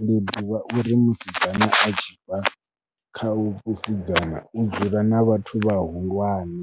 Ndi ḓivha uri musidzana a tshi bva kha vhusidzana, u dzula na vhathu vhahulwane